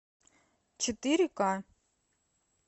четыре ка